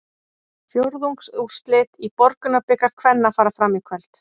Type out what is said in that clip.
Fjórðungsúrslitin í Borgunarbikar kvenna fara fram í kvöld.